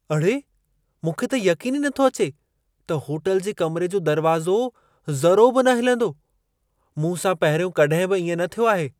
अड़े! मूंखे त यक़ीन ई नथो अचे त होटल जे कमरे जो दरवाज़ो ज़रो बि न हिलंदो। मूं सां पहिरियों कॾहिं बि इएं न थियो आहे।